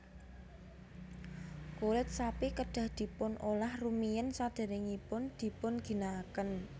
Kulit sapi kedah dipun olah rumiyin sadèrèngipun dipun ginakaken